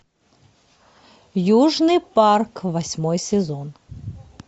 южный парк восьмой сезон